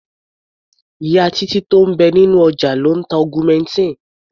Ìyá Títí tó ń bẹ nínú ọjà ló ń ta augmentin.